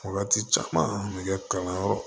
Wagati caman nɛgɛ kalanyɔrɔ